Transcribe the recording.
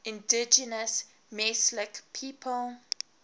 indigenous mesolithic people